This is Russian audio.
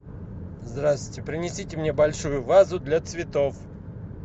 здравствуйте принесите мне большую вазу для цветов